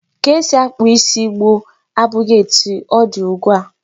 Ka esi akpụ isi gboo abụghị etu ọ dị ugbu a.